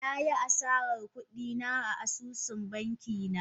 Na yi asarar kudi na a asusun banki na